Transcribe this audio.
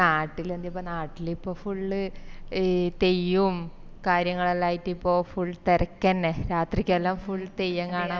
നാട്ടില് എന്താപ്പൊ നാട്ടില് ഇപ്പൊ full ഇ തെയ്യോമ് കാര്യങ്ങളെല്ലായിറ്റ് ഇപ്പൊ full തെരക്കന്നെ രാത്രിക്കെല്ലാം full തെയ്യം കാണാൻ പൊന്ന്